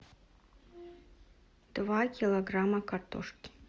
два килограмма картошки